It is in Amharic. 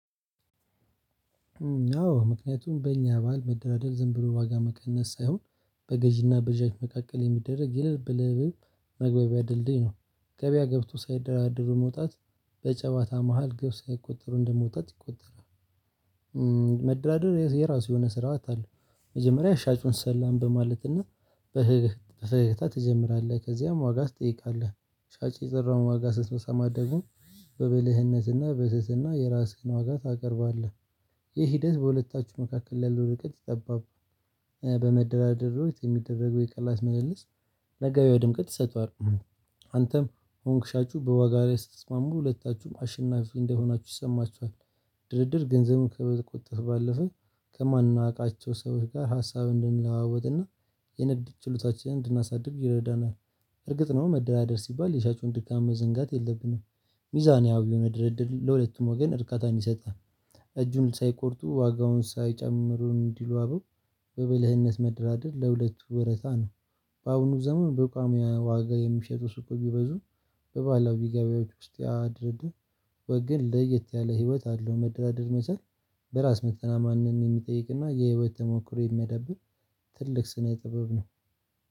አዎ ምክንያቱም በእኛ ባህል መደራደር ዝም ብሎ ዋጋ መቀነስ ሳይሆን በገዢና በሻጭ መካከል የሚደረግ የልብ ለልብ መግባቢያ ድልድይ ነው። ገበያ ገብቶ ሳይደራደሩ መውጣት በጨዋታ መሃል ግብ ሳያስቆጥሩ እንደመውጣት ይቆጠራል። መደራደር የራሱ የሆነ ስርዓት አለው። መጀመሪያ ሻጩን ሰላም በማለትና በፈገግታ ትጀምራለህ ከዚያም ዋጋ ትጠይቃለህ ሻጭ የጠራውን ዋጋ ስትመሰማ ደግሞ በብልህነትና በትህትና የራስህን ዋጋ ታቀርባለህ። ይህ ሂደት በሁለታችሁ መካከል ላይ ያለው ርቀት ጠባብ። በመደራደር ወቅት የሚደረገው የቅናሽ መልልስ ለገበያው ድምቀት ይሰጠዋል። አንተም ሆንክ ሻጩ በዋጋ ላይ ስትስማሙ ሁለታችሁም አሸናፊ እንደሆናችሁ ይሰማችኋል። ድርድር ገንዘብን ከመቆጠብ ባለፈ ከማናውቃቸው ሰዎች ጋር ሀሳብ እንድንለዋወጥና የንግድ ችሎታችንን እንድናሳድግ ይረዳናል። እርግጥ ነው መደራደር ሲባል የሻጩን ድካም መዘንጋት የለብንም። ሚዛናዊው የሆነ ድርድር ለሁለቱም ወገን እርካታን ይሰጣል። እጁን ሳይቆርጡ ዋጋውን ሳይጨምሩ እንዲሉ አበው በብልህነት መደራደር ለሁለቱ ወረታ ነው። በአቡኑ ዘመን በቋሚ ዋጋ የሚሸጡ ሱቅ ቢበዙም በባላዊ ገበያዎች ውስጥ ያድርድር። ወገን ለየት ያለ ህይወት አለው መደራደር መቻል። በራስ መተማመንን የሚጠይቅና የህይወት ተሞክሮ የሚያዳብር ትልቅ ስነ ጥበብ ነው።